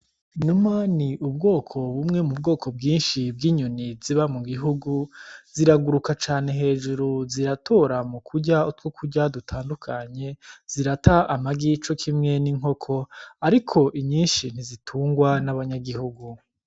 Inuma ni ubwoko bumwe mu bwoko bwinshi bw'inyoni ziba mu gihugu, ziraguruka cane hejuru, ziratora mu kurya utwokurya dutandukanye, zirata amagi cokimwe n'inkoko ariko nyinshi ntizitungwa n'abanyagihugu.